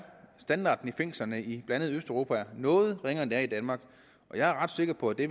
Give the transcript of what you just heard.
standarden i fængslerne i blandt andet østeuropa er noget ringere end den er i danmark og jeg er ret sikker på at det